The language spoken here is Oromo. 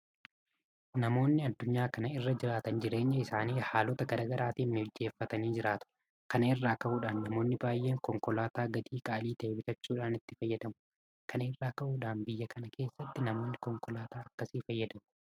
Namoonni addunyaa kana irra jiraatan jireenya isaanii haalota garaa garaatiin mijeeffatanii jiraatu. Kana irraa ka'uudhaan namoonni baay'een Konkolaataa gatii qaalii ta'e bitachuudhaan itti fayyadamu. Kana irraa ka'uudhaan biyya kana keessattis namoonni konkolaataa akkasii fayyadamu.